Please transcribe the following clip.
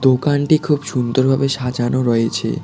দোকানটি খুব সুন্দরভাবে সাজানো রয়েছে।